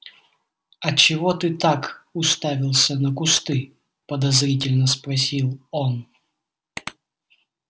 а чего ты так уставился на кусты подозрительно спросил он